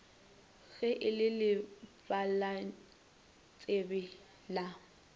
ge e le lebalantsebe la